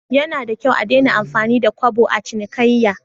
Yanada kyau a Dena amfani da Kobo a cinikayya?